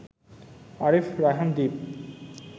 Arif Raihan Dwip